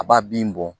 A b'a bin bɔn